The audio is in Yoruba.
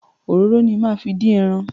Òróró ni máa fi dín ẹran.